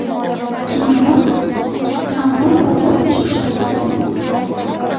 Keyinroq ta’mir va qurilish ishlariga o‘tib ketdik.